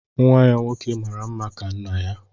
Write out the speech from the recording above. Nwa ya nwoke mara mma ka nna ya